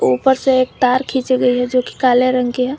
ऊपर से एक तार खींची गई है जो कि काले रंग के है।